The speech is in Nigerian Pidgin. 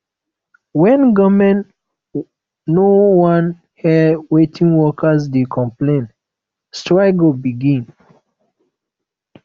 wen government no wan hear wetin workers dey complain strike go begin